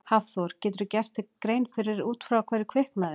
Hafþór: Geturðu gert þér grein fyrir út frá hverju hefur kviknað?